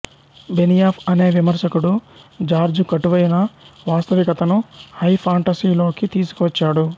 Benioff అనే విమర్శకుడు George కటువైన వాస్తవికతను హై ఫాంటసీలోకి తీసుకువచ్చాడు